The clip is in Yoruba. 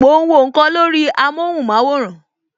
Mo ń wọ nkan lórí amóhùn maworan